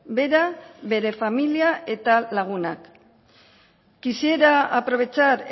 bera bere familia eta lagunak quisiera aprovechar